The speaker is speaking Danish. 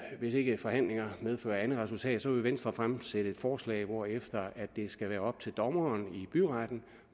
ikke forhandlingerne medfører andet resultat vil venstre fremsætte et forslag hvorefter det skal være op til dommeren i byretten